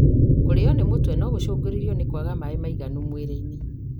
Kũrĩo nĩ mũtwe no gũcungĩrĩrĩrio nĩ kwaga maĩ maiganu mwĩrĩinĩ.